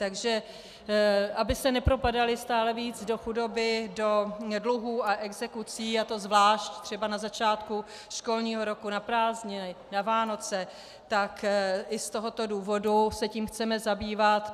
Takže aby se nepropadaly stále víc do chudoby, do dluhů a exekucí, a to zvlášť třeba na začátku školního roku, na prázdniny, na Vánoce, tak i z tohoto důvodu se tím chceme zabývat.